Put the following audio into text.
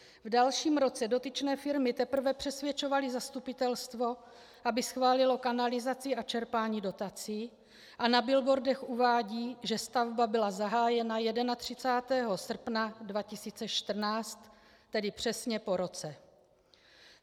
V dalším roce dotyčné firmy teprve přesvědčovaly zastupitelstvo, aby schválilo kanalizaci a čerpání dotací, a na billboardech uvádí, že stavba byla zahájena 31. srpna 2014, tedy přesně po roce.